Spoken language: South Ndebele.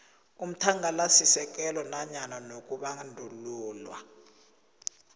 umthangalasisekelo kanye nokubandulelwa